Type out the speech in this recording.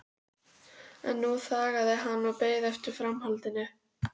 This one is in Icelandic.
En nú þagði hann og beið eftir framhaldinu.